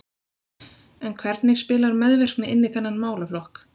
En hvernig spilar meðvirkni inn í þennan málaflokk?